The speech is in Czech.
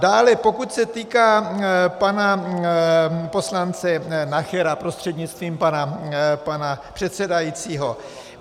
Dále pokud se týká pana poslance Nachera prostřednictvím pana předsedajícího.